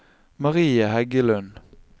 Marie Heggelund